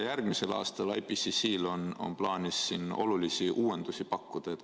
Järgmisel aastal on IPCC-l plaanis olulisi uuendusi pakkuda.